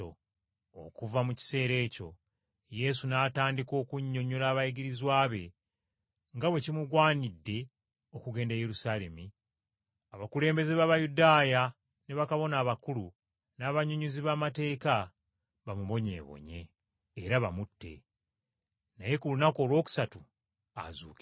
Okuva mu kiseera ekyo Yesu n’atandika okunnyonnyola abayigirizwa be nga bwe kimugwanidde okugenda e Yerusaalemi, abakulembeze b’Abayudaaya ne bakabona abakulu, n’abannyonnyozi b’amateeka bamubonyeebonye, era bamutte; naye ku lunaku olwokusatu azuukire.